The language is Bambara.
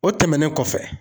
O tɛmɛnen kɔfɛ.